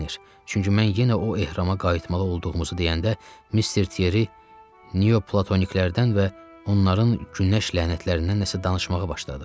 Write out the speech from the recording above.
çünki mən yenə o ehrama qayıtmalı olduğumuzu deyəndə Mister Tieri niyoplatoniklər-dən və onların günəş lənətlərindən nəsə danışmağa başladı.